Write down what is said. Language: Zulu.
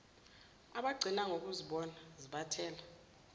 abagcina ngokuzibona zibathela